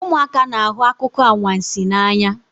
Ụmụaka na-ahụ akụkọ anwansi n'anya